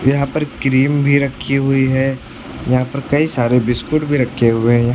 यहां पर क्रीम भी रखी हुई है यहां पर कई सारे बिस्किट भी रखे हुए हैं।